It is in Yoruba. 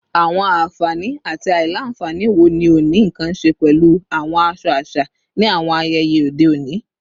Awọn anfani ati alailanfani wo ni o ni nkan ṣe pẹlu awọn aṣọ aṣa ni awọn ayẹyẹ ode oni?